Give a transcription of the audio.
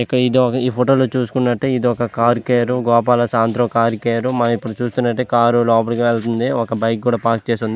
ఇది ఒక ఈ ఫోటో లో చూస్తున్నట్లయితే ఇది ఒక కార్ గోపాల శాంట్రో కార్ కేర్ మనం ఇక్కడ చూస్తున్నట్లయితే కార్ లోపలికి వెళ్తుంది ఒక బైక్ కూడా పార్క్ చేసి ఉంది.